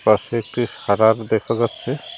পাশে একটি সাদা দেখা যাচ্ছে।